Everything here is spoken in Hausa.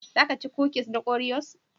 Za ka ci kukis na Oreos?